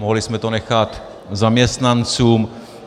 Mohli jsme to nechat zaměstnancům.